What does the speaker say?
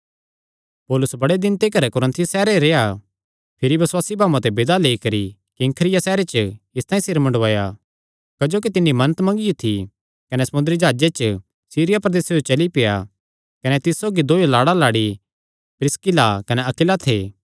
पौलुस बड़े दिन तिकर कुरिन्थुस सैहरे रेह्आ भिरी बसुआसी भाऊआं ते विदा लेई करी किंख्रिया सैहरे च इसतांई सिर मुंडाया क्जोकि तिन्नी मन्नत मंगियो थी कने समुंदरी जाह्जे च सीरिया प्रदेस जो चली पेआ कने तिस सौगी दोयो लाड़ा लाड़ी प्रिसकिल्ला कने अक्विला थे